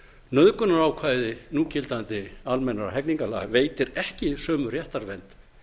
nauðgunarákvæði núgildandi almennra hegningarlaga veitir ekki sömu réttarvernd